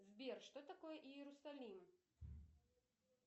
сбер что такое иерусалим